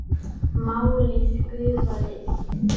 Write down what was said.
Málið gufaði upp.